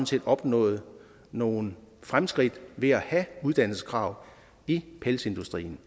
set opnået nogle fremskridt ved at have uddannelseskrav i pelsdyrindustrien